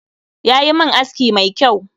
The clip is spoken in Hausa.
Yayi min aski mai kyau